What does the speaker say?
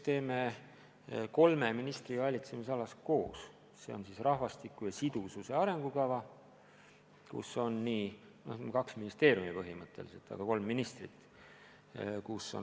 Me teeme seda kolme ministri valitsemisalas koos, see on rahvastiku sidususe arengukava, kus on osalised põhimõtteliselt kaks ministeeriumi, aga kolm ministrit.